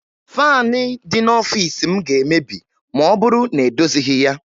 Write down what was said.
Faanị dị n'ọfiisi m ga-emebi ma ọ bụrụ na edozighi ya